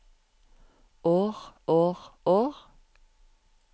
år år år